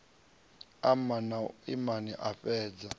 ama na u iman afhadza